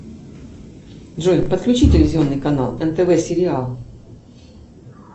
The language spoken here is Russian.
джой подключи телевизионный канал нтв сериал